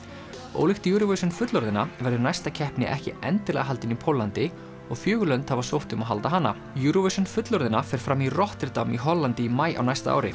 ólíkt Eurovision fullorðinna verður næsta keppni ekki endilega haldin í Póllandi og fjögur lönd hafa sótt um að halda hana Eurovision fullorðinna fer fram í Rotterdam í Hollandi í maí á næsta ári